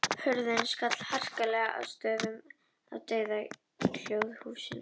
Hurðin skall harkalega að stöfum og það var dauðahljóð í húsinu.